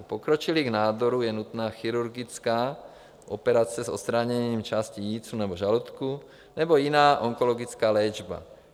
U pokročilých nádorů je nutná chirurgická operace s odstraněním části jícnu nebo žaludku, nebo jiná onkologická léčba.